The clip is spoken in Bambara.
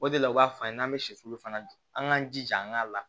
O de la u b'a f'an ye n'an bɛ sɛsi fana dun an k'an jija an k'a la